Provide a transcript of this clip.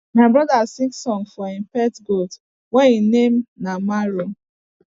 my brother sing song for him pet goat wey him name na mario